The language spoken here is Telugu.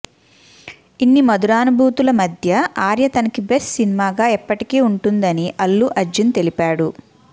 ఇన్ని మధురానుభూతుల మధ్య ఆర్య తనకి బెస్ట్ సినిమాగా ఎప్పటికీ వుంటుందని అల్లు అర్జున్ తెలిపాడు